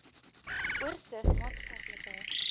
oorsig maatskaplike